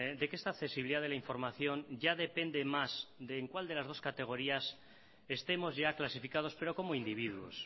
de que esta accesibilidad de la información ya depende más de en cuál de las dos categorías estemos ya clasificados pero como individuos